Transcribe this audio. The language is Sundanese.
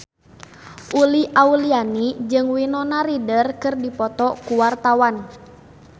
Uli Auliani jeung Winona Ryder keur dipoto ku wartawan